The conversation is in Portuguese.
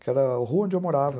Que era a rua onde eu morava.